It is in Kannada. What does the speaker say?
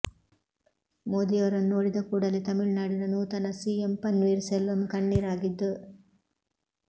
ಮೋದಿಯವರನ್ನು ನೋಡಿದ ಕೂಡಲೇ ತಮಿಳುನಾಡಿನ ನೂತನ ಸಿಎಂ ಪನ್ನೀರ್ ಸೆಲ್ವಂ ಕಣ್ಣೀರಾಗಿದ್ದು